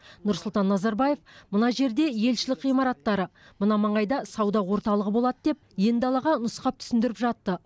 нұрсұлтан назарбаев мына жерде елшілік ғимараттары мына маңайда сауда орталығы болады деп ен далаға нұсқап түсіндіріп жатты